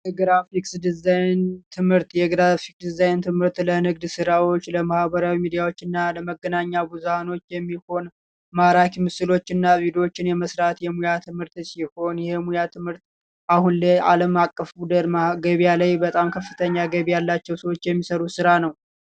የግራፊክስ ዲዛይን ትምህርት የግራፊክስ ዲዛይን ለንግድ ስራዎች ለማህበራዊ ሚዲያዎችና ለመገናኛ ብዙሃን የሚሆን ማራኪ ምስሎች የመስራት የሙያ ትምህርት ሲሆን አሁን ላይ አለም አቀፍ ከፍተኛ ገቢ ያላቸው ሰዎች የሚሰሩት ስራ ነው።